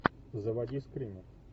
заводи скример